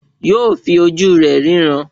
Yóò fi ojú rẹ̀ ríran